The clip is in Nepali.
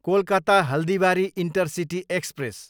Kolkata, Haldibari intercity express